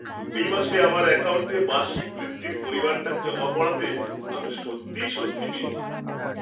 এই মাসে আমার অ্যাকাউন্টে বার্ষিক বৃত্তির পরিমাণটা জমা পড়াতে আমি সত্যিই স্বস্তি পেয়েছি।